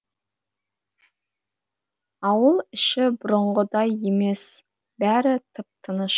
ауыл іші бұрынғыдай емес бәрі тып тыныш